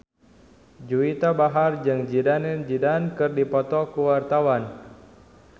Juwita Bahar jeung Zidane Zidane keur dipoto ku wartawan